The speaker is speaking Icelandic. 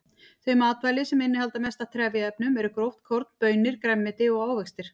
Þau matvæli sem innihalda mest af trefjaefnum eru gróft korn, baunir, grænmeti og ávextir.